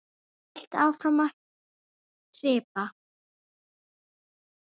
Hann hélt áfram að hripa